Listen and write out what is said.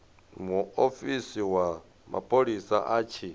muofisi wa mapholisa a tshi